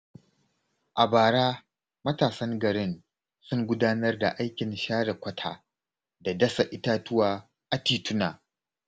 A bara, matasan garin sun gudanar da aikin share kwata da dasa itatuwa a tituna.